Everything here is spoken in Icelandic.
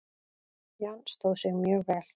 Jan stóð sig mjög vel.